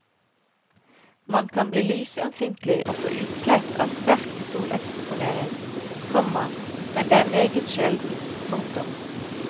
Man kan bli lysømfintlig og få utslett av sterk soleksponering, komma men det er meget sjelden. punktum